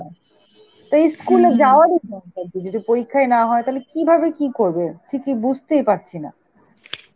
তা ই school এ যাওয়ারই যদি পরীক্ষায় না হয়, তাহলে কিভাবে কি করবে? ঠিকই বুঝতেই পারছি না.